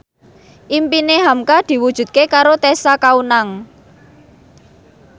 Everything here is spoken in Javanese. impine hamka diwujudke karo Tessa Kaunang